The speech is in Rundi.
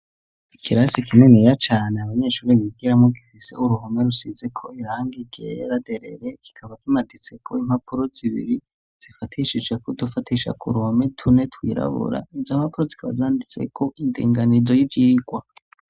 Ikirasi kiniya cane abanyeshuri yibwiramo girise uruhome rusize ko iranga igeraderere kikaba kimaditse ko impapuro zibiri zifatishije ku dufatisha ku ruhome tune twirabura izo ampapuro zikaba zanditse ku indenganizo y'ivyigwa.